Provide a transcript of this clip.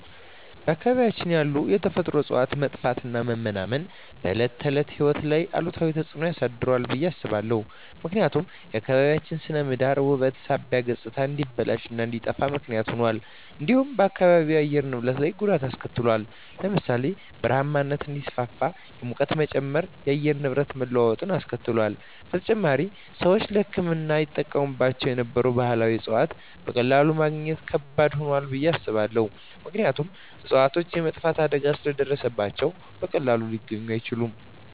በአካባቢያችን ያሉ የተፈጥሮ እፅዋት መጥፋትና መመናመን በዕለት ተዕለት ሕይወት ላይ አሉታዊ ተጽዕኖ አሳድሯል ብየ አስባለሁ። ምክንያቱም የአካባቢያችን ስነ ምህዳር ውበት ሳቢነት ገፅታ እንዲበላሽ እንዲጠፋ ምክንያት ሁኗል። እንዲሁም በአካባቢው የአየር ንብረት ላይ ጉዳት አሰከትሏል ለምሳሌ ( በረሃማነት እንዲስፋፋ፣ የሙቀት መጨመር፣ የአየር ንብረት መለዋወጥ አስከትሏል። በተጨማሪም፣ ሰዎች ለሕክምና ይጠቀሙባቸው የነበሩ ባህላዊ እፅዋትን በቀላሉ ማግኘት ከባድ ሆኗል ብየ አስባለሁ። ምክንያቱም እፅዋቶቹ የመጥፋት አደጋ ስለ ደረሰባቸው በቀላሉ ሊገኙ አይችሉም።